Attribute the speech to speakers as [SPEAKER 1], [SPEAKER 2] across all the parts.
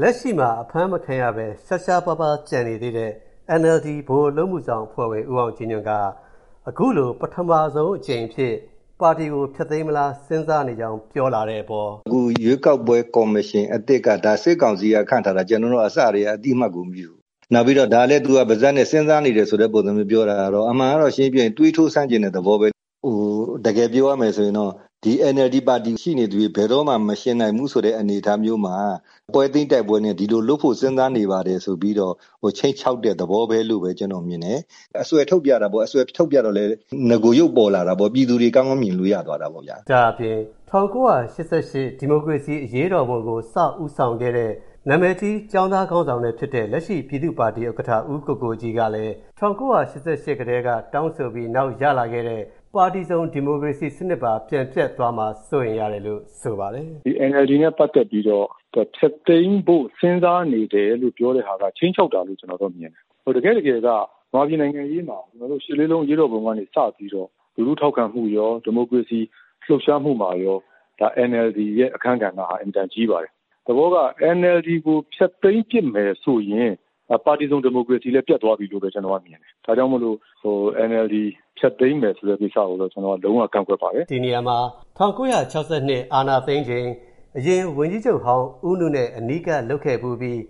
[SPEAKER 1] လက်ရှိမှာ အဖမ်းမခံရဘဲ ရှားရှားပါးပါး ကျန်နေသေးတဲ့ NLD ဗဟိုအလုပ်အမှုဆောင် အဖွဲ့ဝင် ဦးအောင်ကြည်ညွန့်က အခုလို ပထမဆုံးအကြိမ်အဖြစ် ပါတီကို ဖျက်သိမ်းမလား စဉ်းစားနေကြောင်း ပြောလာတဲ့အပေါ်…
[SPEAKER 2] “အခု ရွေးကောက်ပွဲကော်မရှင်အသစ်က ဒါ စစ်ကောင်စီက ခန့်ထားတာ၊ ကျနော်တို့က အစတည်းက အသိအမှတ်ကို မပြုဘူး။ နောက်ပြီး ဒါလည်း သူက ပါးစပ်နဲ့ စဉ်းစားနေတယ်ဆိုတဲ့ ပုံစံမျိုး ပြောတာကတော့၊ အမှန်ကတော့ ရှင်းရှင်းပြောရင် သွေးတိုးစမ်းချင်တဲ့သဘောပဲ။ တကယ်ပြောရမယ်ဆိုရင်တော့ NLD ပါတီရှိနေသရွေ့ ဘယ်တော့မှ မယှဉ်နိုင်ဘူးဆိုတဲ့ အနေအထားမျိုးမှာ ပွဲသိမ်းတိုက်ပွဲနဲ့ ဒီလိုလုပ်ဖို့ စဉ်းစားနေပါတယ်ဆိုပြီးတော့ ခြိမ်းခြောက်တဲ့ သဘောပဲလို့ ကျနော်မြင်တယ်။ အစွယ်ထုတ်ပြတာပေါ့၊ အစွယ်ထုတ်ပြတော့လည်း နဂိုရုပ်ပေါ်လာတာပေါ့။ ပြည်သူတွေ ကောင်းကောင်းမြင်လို့ ရသွားတာပေါ့ဗျာ။” လ
[SPEAKER 1] ို့ ပြောပါတယ်။ ဒါ့အပြင် ၁၉၈၈ ဒီမိုကရေစီ အရေးတော်ပုံကို စပြီး ဦးဆောင်ခဲ့တဲ့ နာမည်ကြီး ကျောင်းသားခေါင်းဆောင်လည်း ဖြစ်တဲ့ လက်ရှိ ပြည်သူ့ပါတီဥက္ကဋ္ဌ ဦးကိုကိုကြီးကလည်း ၁၉၈၈ ကတည်းက တောင်းဆိုပြီးနောက် ရလာခဲ့တဲ့ ပါတီစုံ ဒီမိုကရေစီစနစ်ပါ ပြန်ပျက်သွားမှာ စိုးရိမ်ရတယ်လို့ ဆိုပါတယ်။
[SPEAKER 3] “ဒီ NLD နဲ့ ပတ်သက်ပြီးတော့ ဖျက်သိမ်းဖို့ စဉ်းစားနေတယ်လို့ ပြောတဲ့ဟာက ခြိမ်းခြောက်တာလို့ ကျနော်တော့မြင်တယ်။ တကယ့်တကယ်က မြန်မာပြည်နိုင်ငံရေးမှာ ရှစ်လေးလုံး အရေးတော်ပုံကနေ စပြီးတော့ လူထုထောက်ခံမှုရော ဒီမိုကရေစီ လှုပ်ရှားမှုမှာရော NLD ရဲ့ အခန်းကဏ္ဍဟာ အင်မတန်ကြီးပါတယ်။ သဘောက NLD ကို ဖျက်သိမ်းပစ်မယ်ဆိုရင် ပါတီစုံဒီမိုကရေစီလည်း ပျက်သွားပြီလို့ပဲ ကျနော်က မြင်တယ်။ ဒါကြောင့် NLD ဖျက်သိမ်းမယ်ဆိုတဲ့ ကိစ္စကိုတော့ ကျနော် လုံးဝ ကန့်ကွက်ပါတယ်။
[SPEAKER 1] ” ဒီနေရာမှာ ၁၉၆၂ အာဏာသိမ်းချိန် အရင်ဝန်ကြီးချုပ်ဟောင်း ဦးနုနဲ့ အနီးကပ် လုပ်ခဲ့ဖူးပြီး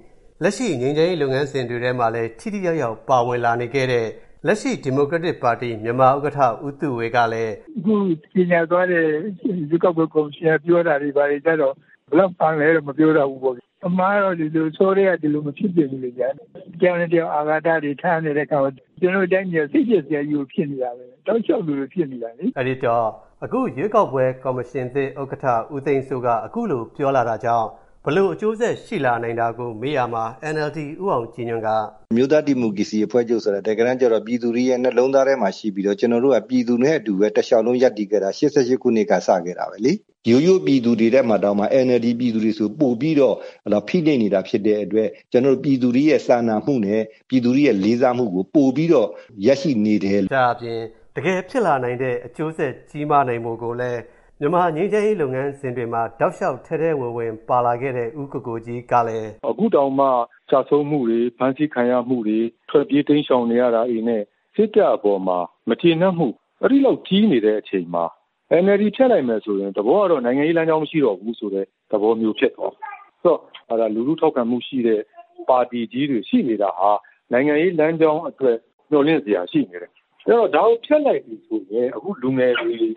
[SPEAKER 1] လက်ရှိ ငြိမ်းချမ်းရေးလုပ်ငန်းစဉ်တွေထဲမှာလည်း ထိထိရောက်ရောက် ပါဝင်လာနေခဲ့တဲ့ လက်ရှိ ဒီမိုကရက်တစ်ပါတီ ဥက္ကဋ္ဌ ဦးသုဝေကလည်း…
[SPEAKER 3] “အခုကြေညာသွားတဲ့ ရွေးကောက်ပွဲကော်မရှင်က ပြောတာတွေဘာတွေကြတော့ ဘယ်လောက်မှန်လဲလို့ မပြောတတ်ဘူးပေါ့ဗျာ။ အမှန်ကတော့ အစောတည်းက ဒီလိုမဖြစ်သင့်ဘူးလေ။ တယောက်နဲ့တယောက် အာဃာတတွေ ထားနေတဲ့အခါ ကျနော်တို့တိုင်းပြည်က စိတ်ပျက်စရာကြီးကို ဖြစ်နေတာပဲ။ တောက်လျှောက် ဒီလိုဖြစ်နေတာ
[SPEAKER 1] လေ။” လို့ ပြောပါတယ်။ အခု ရွေးကောက်ပွဲကော်မရှင်သစ် ဥက္ကဋ္ဌ ဦးသိန်းစိုးက အခုလို ပြောလာတာကြောင့် ဘယ်လိုအကျိုးဆက် ရှိလာနိုင်တာကို မေးရာမှာ ဦးအောင်ကြည်ညွန့်က အခ
[SPEAKER 2] ုလိုပြောပါတယ်။ “အမျိုးသားဒီမိုကရေစီအဖွဲ့ချုပ်ဆိုတာ တကယ်တမ်းကြတော့ ပြည်သူတွေရဲ့ နှလုံးသားထဲမှာ ရှိပြီးတော့ ကျေနာ်တို့က ပြည်သူနဲ့အတူပဲ တလျှောက်လုံး ရပ်တည်ခဲ့တာ ၈၈ ခုနှစ်က စခဲ့တာပဲလေ။ ရိုးရိုးပြည်သူတွေထဲမှာတောင်မှ NLD ပြည်သူတွေဆို ပိုပြီးတော့ ဖိနှိပ်နေတာ ဖြစ်တဲ့အတွက် ပြည်သူတွေရဲ့ စာနာမှုနဲ့ ပြည်သူတွေရဲ့ လေးစားမှုကို ပိုပြီးတော့ ရရှိနေတယ်။”
[SPEAKER 1] ဒါ့အပြင် တကယ်ဖြစ်လာနိုင်တဲ့ အကျိုးဆက် ကြီးမားနိုင်မှုကိုလည်း မြန်မာ့ငြိမ်းချမ်းရေး လုပ်ငန်းစဉ်တွေမှာ တောက်လျှောက် ထဲထဲဝင်ဝင် ပါလာခဲ့တဲ့ ဦးကိုကိုကြီးကလည်း
[SPEAKER 3] အခုလိုဆိုပါတယ်။ “အခုတောင်မှ ကျဆုံးမှုတွေ ဖမ်းဆီးခံရမှုတွေ ထွက်ပြေးတိမ်းရှောင်နေရတာတွေနဲ့ စစ်တပ်အပေါ်မှာ မကျေနပ်မှု အဲဒီလောက် ကြီးနေတဲ့အချိန်မှာ NLD ဖျက်လိုက်မယ်ဆိုရင် သဘောကတော့ နိုင်ငံရေးလမ်းကြောင်း မရှိတော့ဘူးဆိုတဲ့ သဘောမျိုး ဖြစ်သွားမယ်။ လူထုထောက်ခံမှုရှိတဲ့ ပါတီကြီးတွေ ရှိနေတာဟာ နိုင်ငံရေး လမ်းကြောင်းအတွက် မျှော်လင့်စရာ ရှိနေတယ်။ အဲ့တော့ ဒါကို ဖျက်လိုက်ပြီဆိုရင် အခုလူငယ်တွေရဲ့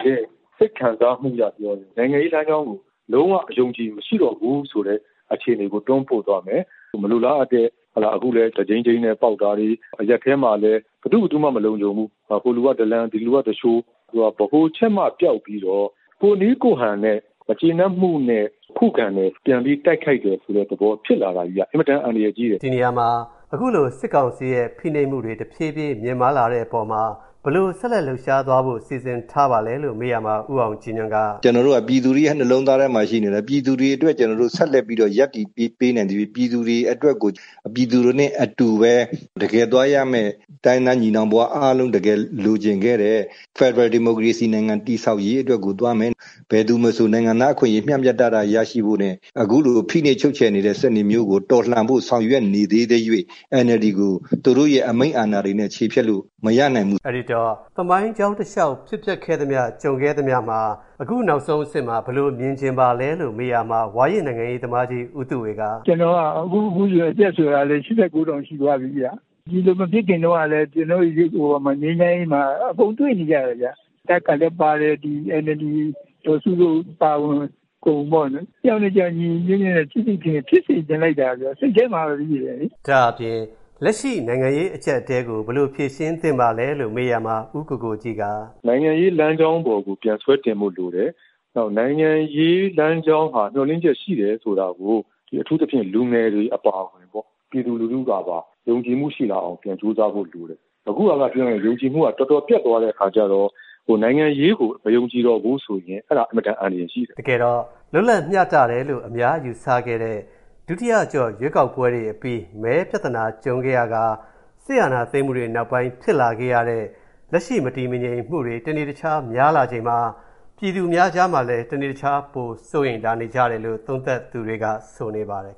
[SPEAKER 3] စိတ်ခံစားမှုအရပြောရင် နိုင်ငံရေးလမ်းကြောင်းကို လုံးဝ အယုံအကြည် မရှိတော့ဘူးဆိုတဲ့ အခြေအနေကို တွန်းပို့သွားမယ်။ မလိုလားအပ်တဲ့၊ အခုလည်း တဂျိမ်းဂျိမ်းနဲ့ ပေါက်တာတွေ၊ အရပ်ထဲမှာလည်း ဘယ်သူ့ ဘယ်သူမှ မလုံခြုံဘူး။ ဟိုလူက ဒလန်၊ ဒီလူက သူလျှို၊ ဆိုတော့ ဗဟိုချက်မ ပျောက်ပြီးတော့ ကိုယ့်နည်းကိုယ့်ဟန်နဲ့ မကျေနပ်မှုနဲ့ ခုခံတယ်၊ ပြန်ပြီး တိုက်ခိုက်တယ်ဆိုတဲ့သဘော ဖြစ်လာတာကြီးက အင်မတန် အန္တရာယ်ကြီးတယ်။
[SPEAKER 1] ” ဒီနေရာမှာ အခုလို စစ်ကောင်စီရဲ့ ဖိနှိပ်မှုတွေ တဖြည်းဖြည်း မြင့်မားလာတဲ့အပေါ်မှာ ဘယ်လိုဆက်လက် လှုပ်ရှားသွားဖို့ စီစဉ်ထားပါလဲလို့ မေးရာမှာ ဦးအောင်ကြည်ညွန့်က… “
[SPEAKER 2] ကျနော်တို့က ပြည်သူတွေရဲ့ နှလုံးသားထဲမှာ ရှိနေတယ်။ ပြည်သူတွေအတွက် ကျနော်တို့ ဆက်လက်ရပ်တည်ပေးနိုင်သရွေ့ ပြည်သူတွေအတွက်ကို ပြည်သူတွေနဲ့အတူပဲ တကယ်သွားရမယ့် တိုင်းရင်းသား ညီနောင်ဖွားအားလုံး တကယ်လိုချင်ခဲ့တဲ့ ဖက်ဒရယ်ဒီမိုကရေစီနိုင်ငံ တည်ဆောက်ရေးအတွက်ကို သွားမယ်။ ဘယ်သူမဆို နိုင်ငံသားအခွင့်အရေး မျှမျှတတ ရရှိဖို့နဲ့ အခုလို ဖိနှိပ်ချုပ်ချယ်နေတဲ့ စနစ်မျိုးကို တော်လှန်ဖို့ ဆောင်ရွက်နေသေးသရွေ့ NLD ကို သူတို့ရဲ့ အမိန့်အာဏာတွေနဲ့ ချေဖျက်လို့ မရနိုင်ဘူး
[SPEAKER 1] ။” လို့ ပြောပါတယ်။ သမိုင်းကြောင်းတလျှောက် ဖြစ်ပျက်ခဲ့သမျှ ကြုံခဲ့ရသမျှမှာ အခု နောက်ဆုံးအဆင့်မှာ ဘယ်လိုမြင်ချင်ပါသလဲလို့ မေးရာမှာ ဝါရင့်နိုင်ငံရေးသမားကြီး ဦးသုဝေက… “ကျနော်က အ
[SPEAKER 3] ခုအရွယ် အသက်လည်း ၈၉ တောင် ရှိသွားပြီဗျ။ ဒီလိုမဖြစ်ခင်တုန်းကလည်း ကျနော်တို့ ငြိမ်းချမ်းရေးမှာ အကုန်တွေ့နေကြတယ်ဗျ။ တပ်ကလည်းပါတယ်၊ NLD ဒေါ်စ
[SPEAKER 1] ုတို့ အပါအဝင် အ
[SPEAKER 3] ကုန်ပေါ့၊ တယောက်နဲ့တယောက် ညီညီညွတ်ညွတ်နဲ့ ချစ်ချစ်ခင်ခင် ဖြစ်စေချင်လိုက်တာဗျ
[SPEAKER 1] ာ။ စိတ်ထဲမှာပဲရှိတယ်လေ။” လို့ ဖြေပါတယ်။ လက်ရှိ နိုင်ငံရေး အကျပ်အတည်းကို ဘယ်လိုဖြေရှင်းသင့်ပါသလဲလို့ မေးရာမှာ ဦးကိုကိုကြီးက အခုလို
[SPEAKER 3] ပြောပါတယ်။ “နိုင်ငံရေးလမ်းကြောင်းပေါ်ကို ပြန်ဆွဲတင်ဖို့ လိုတယ်။ နိုင်ငံရေးလမ်းကြောင်းဟာ မျှော်လင့်ချက်ရှိတယ် ဆိုတာကို အထူးသဖြင့် လူငယ်တွေ အပါအဝင် ပြည်သူလူထုကပါ ယုံကြည်မှုရှိလာအောင် ပြန်ကြိုးစားဖို့ လိုတယ်။ အခုဟာက ပြောရရင် ယုံကြည်မှုက တော်တော်ပျက်သွားတဲ့ အခါကြတော့ နိုင်ငံရေးကို မယုံကြည်တော့ဘူးဆိုရင် အဲဒါ အင်မတန် အန္တရ
[SPEAKER 1] ာယ်ကြီးတယ်။” တကယ်တော့ လွတ်လပ်မျှတတယ်လို့ အများယူဆခဲ့တဲ့ ဒုတိယအကျော့ ရွေးကောက်ပွဲတွေအပြီး မဲပြဿနာ ကြုံခဲ့ရကာ စစ်အာဏာသိမ်းမှုတွေ နောက်ပိုင်း ဖြစ်လာခဲ့ရတဲ့ လက်ရှိ မတည်မငြိမ်မှုတွေ တနေ့တခြား များလာချိန်မှာ ပြည်သူများကြားမှာလည်း တနေ့တခြား ပိုစိုးရိမ်လာနေကြတယ်လို့ သုံးသပ်သူတွေက ဆိုနေပါတယ်